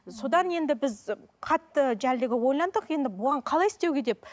содан енді біз қатты ойландық енді бұған қалай істеуге деп